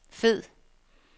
fed